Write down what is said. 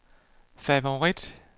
favorit